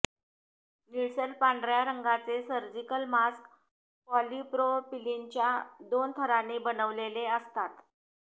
निळसर पांढऱ्या रंगाचे सर्जिकल मास्क पॉलिप्रोपिलीनच्या दोन थरांनी बनलेले असतात